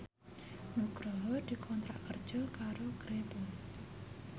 Nugroho dikontrak kerja karo Grebel